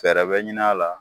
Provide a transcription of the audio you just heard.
Fɛrɛ bɛ ɲini a la.